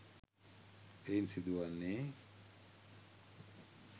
එයින් සිදුවන්නේ